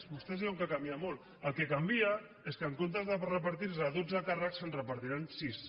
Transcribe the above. vostès diuen que canvia molt el que canvia és que en comptes de repartir se dotze càrrecs se’n repartiran sis